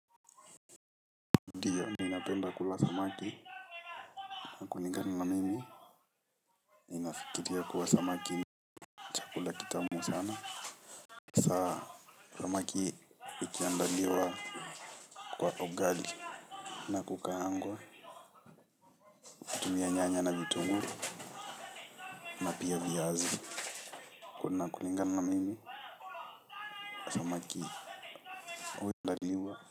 Ndiyo ninapenda kula samaki. Nafikiria kuwa samaki ni chakula kitamu sana. Samaki ikiandaliwa. Kwa ugali nakukaangwa. Nyanya na vitunguu. Na pia viazi kuna kulingana na mimi.